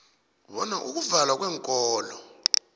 bona ukuvalwa kweenkolo